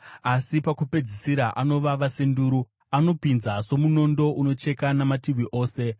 asi pakupedzisira anovava senduru, anopinza somunondo unocheka namativi ose.